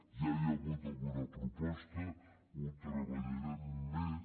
ja hi ha hagut alguna proposta ho treballarem més